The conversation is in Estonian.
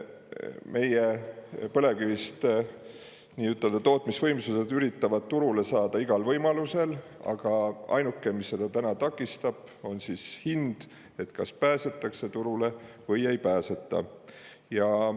Meie põlevkivi nii-ütelda tootmisvõimsused üritavad turule saada igal võimalusel, aga ainuke, mis seda täna takistab, on hind: kas pääsetakse turule või ei pääseta.